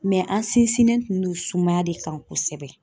Mɛ an sinsinnen tun don sumaya de kan kosɛbɛ